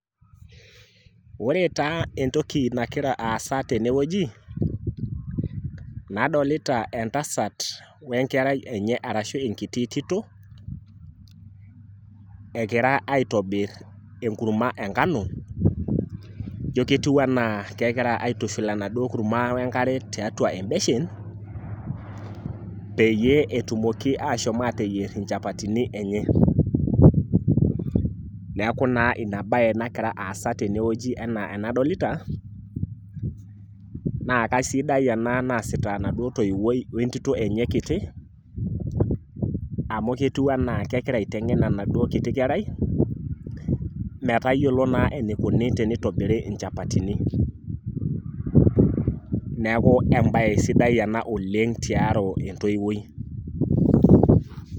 Ore taa entoki nakira aasa tenewueji, nadolita entasat wenkerai enye arashu enkiti tito, ekira aitobir enkurma enkano, ijo ketiu enaa kegira aitushul enaduo kurma wenkare tiatua ebeshen, peyie etumoki ashomo ateyier inchapatini enye. Neeku naa inabae nakira aasa tenewueji enaa enadolita, na kasidai ena naasita enaduo toiwuoi wentito enye kiti, amu ketiu enaa kegirai aiteng'en enaduo kiti kerai, metayiolo naa enikuni tenitobiri inchapatini. Neeku ebae sidai ena oleng tiaro entoiwuoi.